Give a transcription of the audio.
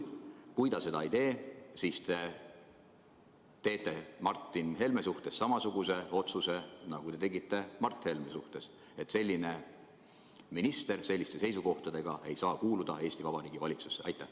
Kui ta seda ei tee, kas siis te teete Martin Helme kohta samasuguse otsuse, nagu te tegite Mart Helme kohta, et selline minister selliste seisukohtadega ei saa kuuluda Eesti Vabariigi valitsusse?